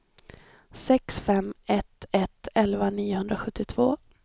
sex fem ett ett elva niohundrasjuttiotvå